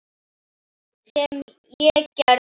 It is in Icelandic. Sem ég gerði.